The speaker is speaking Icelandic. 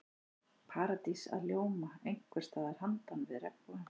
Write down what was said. Paradís að ljóma einhvers staðar handan við regnbogann.